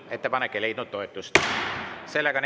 Ettepanek ei leidnud toetust.